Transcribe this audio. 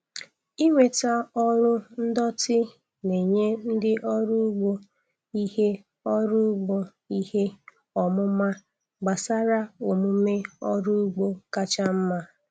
Ịnweta ọrụ ndọtị na-enye ndị ọrụ ugbo ihe ọrụ ugbo ihe ọmụma gbasara omume ọrụ ugbo kacha mma.